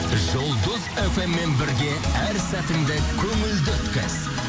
жұлдыз фм мен бірге әр сәтіңді көңілді өткіз